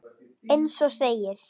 Eins og segir.